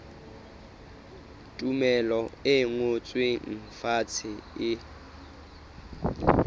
tumello e ngotsweng fatshe e